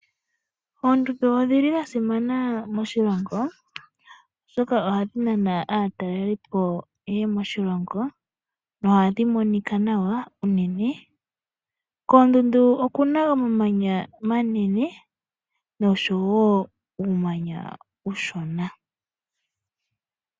Oondundu odhi li dha simana moshilongo oshoka ohadhi nana aatalelipo ye ye moshilongo, nohadhi monika nawa unene. Koondundu oku na omamanya omanene nosho wo uumanya uushona.